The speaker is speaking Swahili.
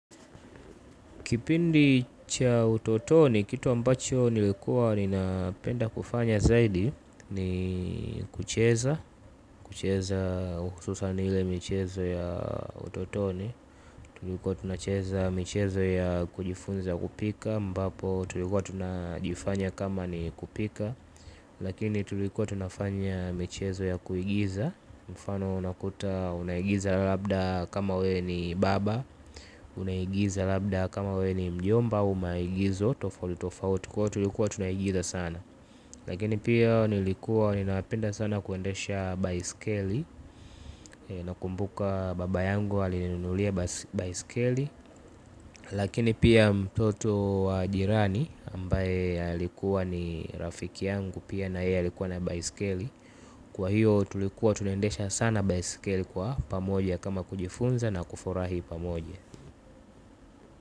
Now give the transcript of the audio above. Kipindi cha utotoni, kitu ambacho nilikuwa ninapenda kufanya zaidi ni kucheza, kucheza hususan ile michezo ya utotoni. Tulikuwa tunacheza michezo ya kujifunza kupika, ambapo tulikuwa tunajifanya kama ni kupika, lakini tulikuwa tunafanya michezo ya kuigiza. Mfano unakuta unaigiza labda kama wewe ni baba. Unaigiza labda kama we ni mjomba au maigizo tofauti tofauti kwa hiyo tulikuwa tunaigiza sana. Lakini pia nilikuwa ninapenda sana kuendesha baiskeli. Nakumbuka baba yangu alininunulia baiskeli. Lakini pia mtoto wa jirani ambaye alikuwa ni rafiki yangu pia na yeye alikuwa na baiskeli. Kwa hiyo tulikuwa tunaendesha sana baiskeli kwa pamoja kama kujifunza na kufurahi pamoja.